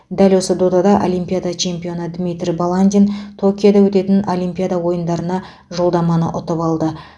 дәл осы додада олимпиада чемпионы дмитрий баландин токиода өтетін олимпиада ойындарына жолдаманы ұтып алды